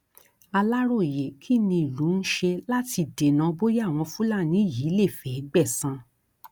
aláròyé kí ni ìlú ń ṣe láti dènà bóyá àwọn fúlàní yìí lè fẹẹ gbẹsan